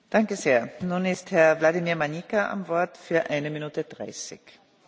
Hovoríme o období s historicky najväčším náporom na finančné zdroje.